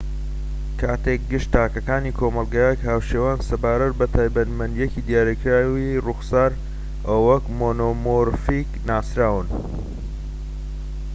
کاتێک گشت تاکەکانی کۆمەڵگەیەک هاوشێوەن سەبارەت بە تایبەتمەندیەکی دیاریکراوی ڕووخسار ئەوە وەک مۆنۆمۆرفیک ناسراون